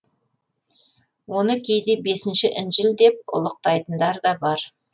оны кейде бесінші інжіл деп ұлықтайтындар да бар